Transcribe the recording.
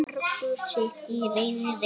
Margur sitt í reiði reytir.